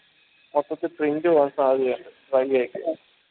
അപ്പക്ക് print പോവാൻ സാധ്യത ഉണ്ട് dry ആയിട്ട്